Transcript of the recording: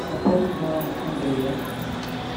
пополни баланс андрея